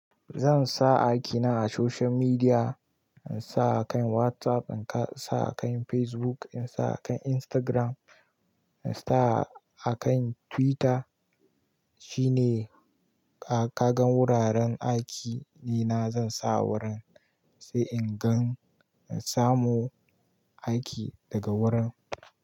Zan sa aiki na akan social media, in sa akan WhatsApp, in sa akan Facebook, in sa akan Instagram, in sa akan twitter, shine-- ka gan wuraren aiki ɗina zan sa a wurin, sai in gan in samu aiki daga wurin.